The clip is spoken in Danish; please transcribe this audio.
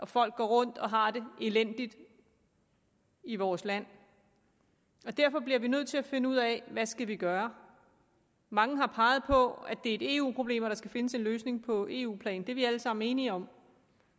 folk går rundt og har det elendigt i vores land og derfor bliver vi nødt til at finde ud af hvad skal vi gøre mange har peget på at det er et eu problem og at der skal findes en løsning på eu plan det er vi alle sammen enige om